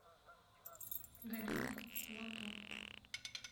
галина лапо